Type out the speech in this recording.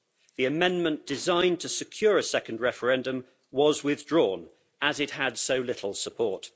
The amendment designed to secure a second referendum was withdrawn as it had so little support.